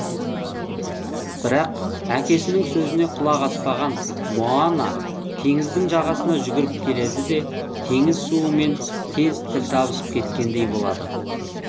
бірақ әкесінің сөзіне құлақ аспаған моана теңіздің жағасына жүгіріп келеді де теңіз суы мен тез тіл табысып кеткендей болады